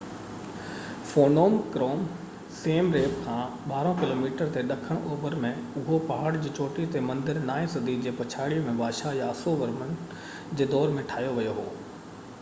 Phnom Krom Siem Reap کان 12 kilometre تي ڏکڻ اوڀر ۾ اهو پهاڙ جي چوٽي تي مندر نائين صدي جي پڇاڙي ۾ بادشاه ياسو ورمن جي دور ۾ ٺاهيو ويو هو